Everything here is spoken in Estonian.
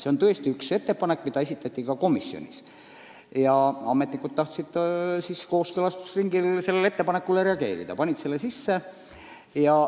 See oli üks ettepanek, mis esitati ka komisjonis, ja ametnikud tahtsid kooskõlastusringil sellele ettepanekule reageerida ning panid selle sisse.